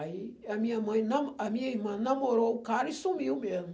Aí a minha mãe na a minha irmã namorou o cara e sumiu mesmo.